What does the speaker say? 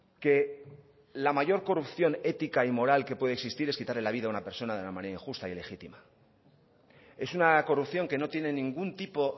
que la mayor corrupción ética y moral que puede existir es quitarle la vida a una persona de una manera injusta e ilegítima es una corrupción que no tiene ningún tipo